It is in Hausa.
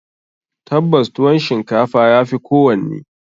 Tabbas, tuwon shinkafa ya fi kowanne.